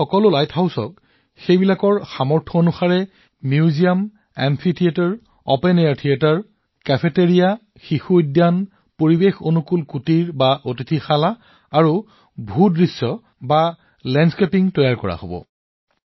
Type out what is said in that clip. এই আটাইবোৰ লাইট হাউচত ইয়াৰ ক্ষমতা অনুসৰি সংগ্ৰহালয় amphitheatre open air theatre cafeteria children's park পৰিবেশ অনুকূল কটেজ আৰু লেণ্ডস্কেপিং বিকশিত কৰা হব